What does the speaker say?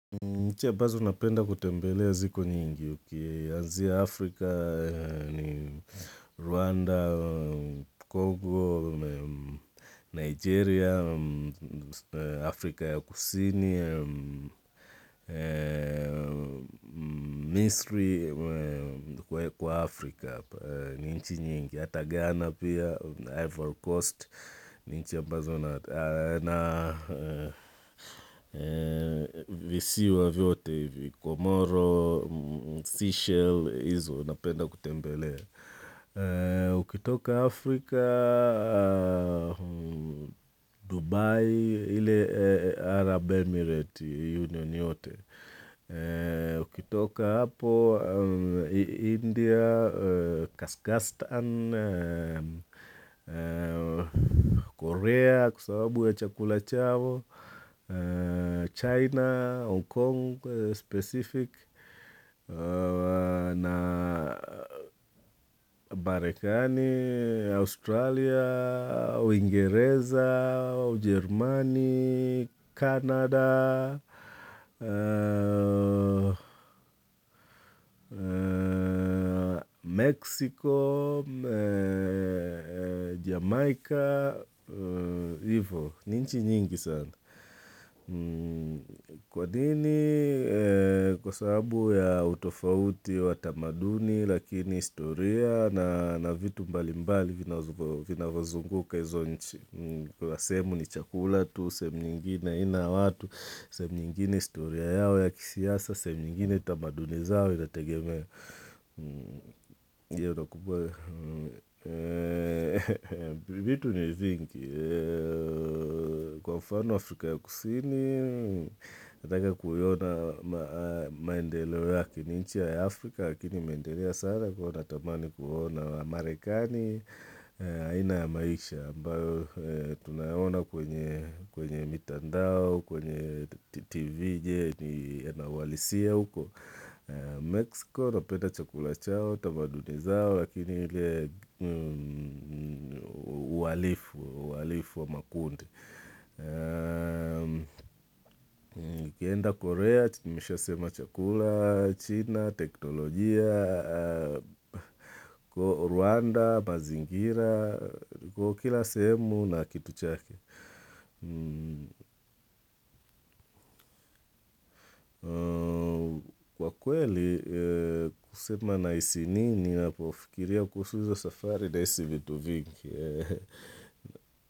Nchi ambazo napenda kutembelea ziko nyingi ukianzia Afrika, Rwanda, Congo, Nigeria, Afrika ya Kusini, Misri kwa Afrika apa, ni nchi nyingi. Ata ghana pia, Ivory Coast, ni nchi ambazo na visiwa vyote, Komoro, Seychelles, izo, napenda kutembelea. Ukitoka Afrika, Dubai, ile Arab Emirate Union yote. Ukitoka hapo, India, Kaskastan, Korea kwa sababu ya Chakula chao, China, Hong Kong specific, na Marekani, Australia, au uingereza, Jerumani, Canada. Mexico Jamaica Ivo, ni nchi nyingi sana Kwa nini, kwa sababu ya utofauti wa tamaduni Lakini historia na vitu mbali mbali vinavyozunguka izo nchi Kuna sehemu ni chakula tu, sehemu nyingine aina ya watu sehemu nyingine historia yao ya kisiasa sehemu nyingine tamaduni zao inatategemea vitu ni vingi Kwa mfano Afrika ya kusini Nataka kuiona maendeleo yake ni nchi ya Afrika Lakini imeendelea sana kwa natamani kuona wa Amerikani aina ya maisha ambayo Tunayaona kwenye mitandao kwenye TV Je ni Nauhalisia uko Mexico, napenda chakula chao, tamaduni zao, lakini ile uhalifu wa makundi. Ukienda Korea, nimeshasema chakula, China, teknolojia, Rwanda, mazingira, kila sehemu na kitu chake. Kwa kweli kusema nahisi nini ninapofikiria kuhusu izo safari nahisi vitu vingi.